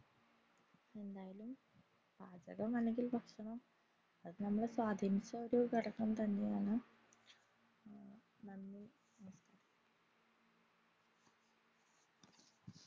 എന്തായാലും പാചകം അല്ലെങ്കിൽ ഭക്ഷണം അത് നമ്മളെ സ്വാധീനിച്ച ഒരു ഘടകം തന്നെയാണ്